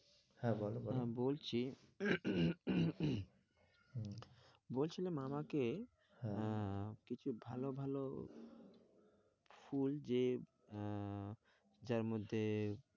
হ্যাঁ, বলো বলো হ্যাঁ বলছি বলছিলাম আমাকে হ্যাঁ আহ কিছু ভালো ভালো ফুল যে আহ যার মধ্যে